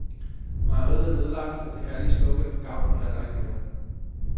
Mejeriet er nedlagt, og det herlige slogan på gavlen er der ikke mere.